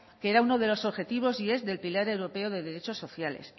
que era uno de los objetivos y es el pilar europeo de derechos sociales